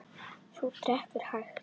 Hún drekkur hægt.